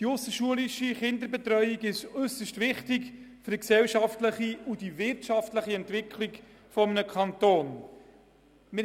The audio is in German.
Die ausserschulische Kinderbetreuung ist äusserst wichtig für die gesellschaftliche und wirtschaftliche Entwicklung eines Kantons.